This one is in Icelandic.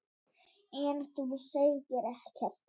En þú segir ekkert.